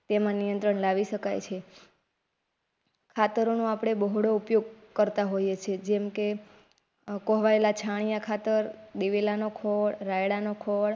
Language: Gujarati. તેમાં નિયંત્રણ લાવી શકાય છે ખાતરો આપડે બોહળો ઉપયોગ કરતા હોય છે. જેમ કે કોહવાયેલા છાણિયા ખાતર દિવેલા નો ખોર રાયડા નો ખોર